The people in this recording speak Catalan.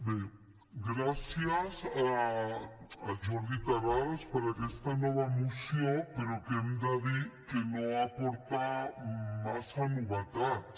bé gràcies al jordi terrades per aquesta nova moció però que hem de dir que no aporta massa novetats